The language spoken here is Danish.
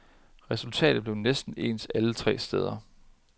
Resultatet blev næsten ens alle tre steder.